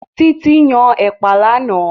Títí yan Ẹ̀pà lánàá